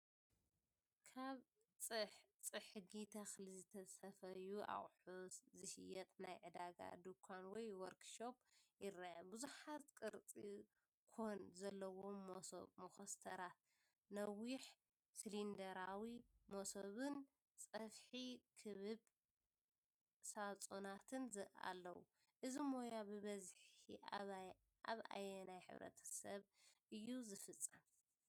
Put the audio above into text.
ካብ ጽሕጊ ተኽሊ ዝተሰፍዩ ኣቑሑት ዝሸይጥ ናይ ዕዳጋ ድኳን ወይ ወርክሾፕ ይርአ። ብዙሓት ቅርጺ ኮን ዘለዎም መሶብ (መኾስተራት)፣ ነዊሕ ሲሊንደራዊ መሶብን ጸፍሒ ክቡብ ሳጹናትን ኣለዉ። እዚ ሞያ ብብዝሒ ኣብ ኣየናይ ማሕበረሰብ እዩ ዝፍጸም?